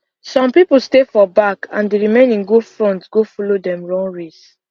some people stay for back and the remaining go front go follow dem run race